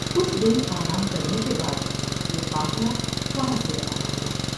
کچھ دن آرام کرنے کے بعد یہ قافلہ وہاں سے روانہ ہوا ۔